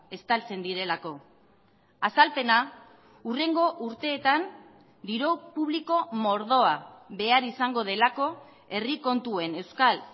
estaltzen direlako azalpena hurrengo urteetan diru publiko mordoa behar izango delako herri kontuen euskal